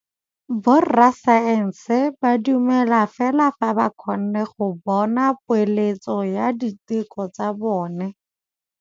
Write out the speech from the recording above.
Borra saense ba dumela fela fa ba kgonne go bona poeletsô ya diteko tsa bone.